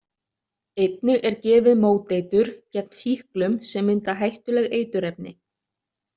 Einnig er gefið móteitur gegn sýklum sem mynda hættuleg eiturefni.